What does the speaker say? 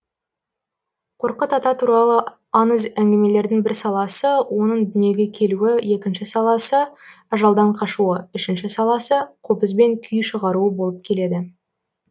қорқыт ата туралы аңыз әңгімелердің бір саласы оның дүниеге келуі екінші саласы ажалдан қашуы үшінші саласы қобызбен күй шығаруы болып келеді